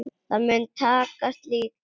Það mun takast líka.